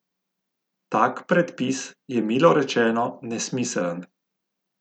Tak predpis je milo rečeno nesmiseln.